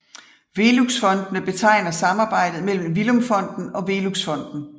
Veluxfondene betegner samarbejdet mellem Villum Fonden og Velux Fonden